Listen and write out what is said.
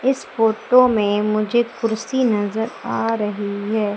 इस फोटो में मुझे कुर्सी नजर आ रही है।